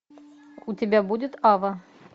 у тебя будет ава